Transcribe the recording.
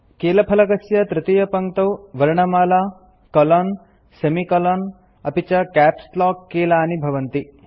कीलफलकस्य तृतीयपङ्क्तौ वर्णमाला colon semicolon अपि च कैप्स् लॉक कीलानि भवन्ति